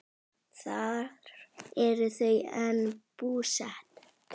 Þar eru þau enn búsett.